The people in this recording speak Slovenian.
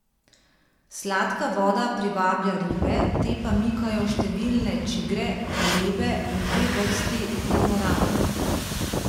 Sladka voda privablja ribe, te pa mikajo številne čigre, galebe in dve vrsti kormoranov.